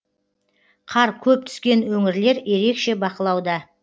қар көп түскен өңірлер ерекше бақылауда